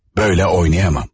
Böyle oynayamam.